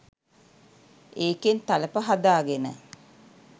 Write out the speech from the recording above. ඒකෙන් තලප හදාගෙන